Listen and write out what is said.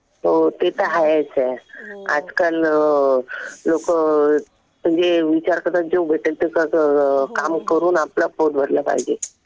हो ते तर आहेच. आजकाल लोकं जे विचार करतात जे भेटेल ते काम करून आपलं पोट भरलं पाहिजे.